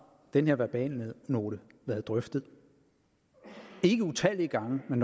den her verbalnote været drøftet ikke utallige gange men